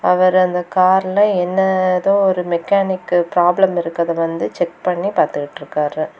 இவர் அந்த கார்ல என்னதோ ஒரு மெக்கானிக் ப்ராப்ளம் இருக்கற்த வந்து செக் பண்ணி பாத்துட்ருக்காரு.